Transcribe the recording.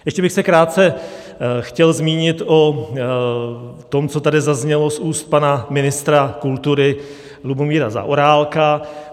Ještě bych se krátce chtěl zmínit o tom, co tady zaznělo z úst pana ministra kultury Lubomíra Zaorálka.